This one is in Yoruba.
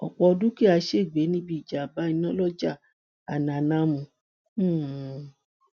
ọpọ dúkìá ṣègbè níbi ìjàmbá iná lọjà alanàmù um